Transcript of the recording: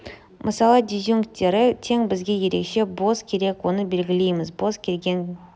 мысалы дизъюнкттері тең бізге ерекше бос керек оны белгілейміз бос кез келген